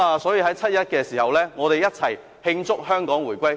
在七一時，我們一起慶祝香港回歸。